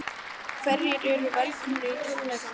En hverjir eru velkomnir á tónleikana?